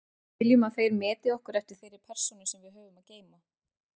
Við viljum að þeir meti okkur eftir þeirri persónu sem við höfum að geyma.